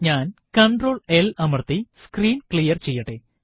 ഞാൻ control L അമര്ത്തി screen clear ചെയ്യട്ടെ